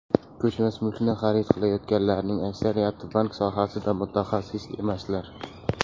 Ko‘chmas mulkni xarid qilayotganlarning aksariyati bank sohasida mutaxassis emaslar.